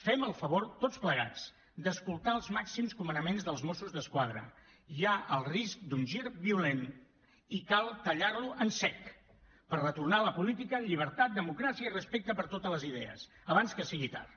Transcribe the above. fem el favor tots plegats d’escoltar els màxims comanaments dels mossos d’esquadra hi ha el risc d’un gir violent i cal tallar lo en sec per retornar a la política amb llibertat democràcia i respecte per totes les idees abans que sigui tard